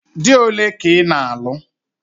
Dị ole ka ị na-alụ?